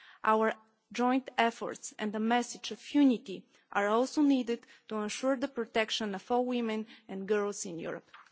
Our joint efforts and the message of unity are also needed to ensure the protection of all women and girls in Europe.